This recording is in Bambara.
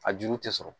A juru tɛ sɔrɔ